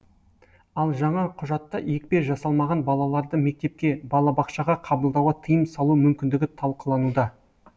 ал жаңа құжатта екпе жасалмаған балаларды мектепке балабақшаға қабылдауға тыйым салу мүмкіндігі талқылануда